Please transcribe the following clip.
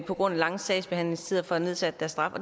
på grund af lange sagsbehandlingstider får nedsat deres straf